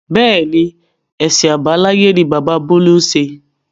Bẹ́ẹ̀ni, èsìn àbáláyé ni bàbá bolu ń ṣe.